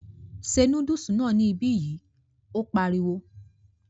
Se núdùsì náà ní ibi yi, ó pariwo